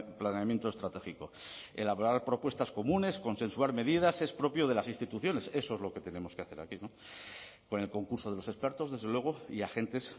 planeamiento estratégico elaborar propuestas comunes consensuar medidas es propio de las instituciones eso es lo que tenemos que hacer aquí no con el concurso de los expertos desde luego y agentes